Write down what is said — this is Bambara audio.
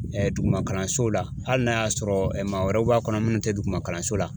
Duguma kalanso la hali n'a y'a sɔrɔ maa wɛrɛw b'a kɔnɔ minnu tɛ duguma kalanso la